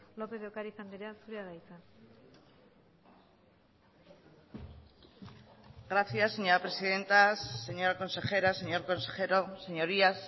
lopez de ocariz andrea zurea da hitza gracias señora presidenta señora consejera señor consejero señorías